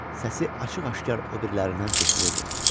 Səsi açıq-aşkar o birilərindən seçilirdi.